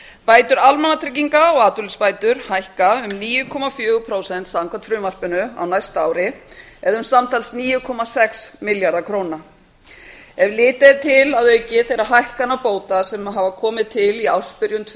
bætur almannatrygginga og atvinnuleysisbætur hækka um níu komma fjögur prósent samkvæmt frumvarpinu á næsta ári eða um samtals níu komma sex milljarða króna ef litið er til að auki þeirra hækkana bóta sem hafa komið til í ársbyrjun tvö